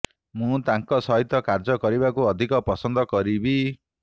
ମୁଁ ତାଙ୍କ ସହିତ କାର୍ଯ୍ୟ କରିବାକୁ ଅଧିକ ପସନ୍ଦ କରିବି